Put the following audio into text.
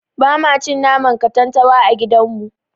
Bama cin naman katantanwa a gidan mu.